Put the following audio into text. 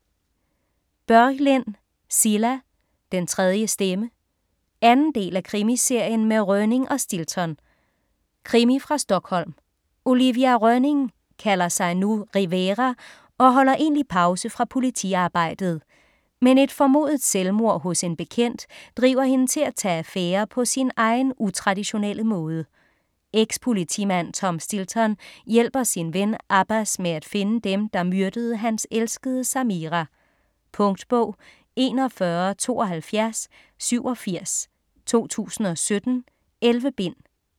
Börjlind, Cilla: Den tredje stemme 2. del af Krimiserien med Rönning og Stilton. Krimi fra Stockholm. Olivia Rönning kalder sig nu Rivera og holder egentlig pause fra politiarbejdet. Men et formodet selvmord hos en bekendt driver hende til at tage affære på sin egen utraditionelle måde. Ex-politimand Tom Stilton hjælper sin ven Abbas med at finde dem, der myrdede hans elskede Samira. Punktbog 417287 2017. 11 bind.